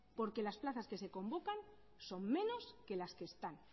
porque las plazas que se convocan son menos de las que están